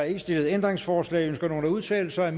ikke stillet ændringsforslag ønsker nogen at udtale sig